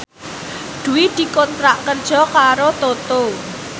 Dwi dikontrak kerja karo Toto